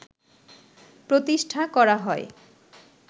প্রতিষ্ঠা করা হয়